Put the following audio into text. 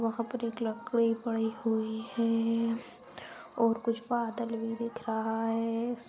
और वहां पर एक लकड़ी पड़ी हुई है दिख रही है और कुछ बादल भी दिख रहा है|